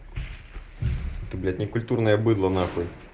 ты блять некультурная быдло нахуй